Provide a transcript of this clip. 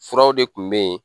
Furaw de tun bɛ yen